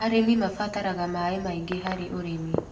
Arĩmi mabataraga maĩ maingĩ harĩ ũrĩmi.